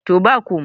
to ba komai